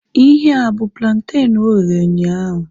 Ihea abu plantenu oghere ụnyaahụ?